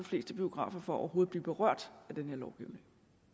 fleste biografer for overhovedet at blive berørt af den her lovgivning